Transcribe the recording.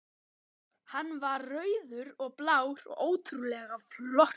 Hann var rauður og blár og ótrúlega flottur.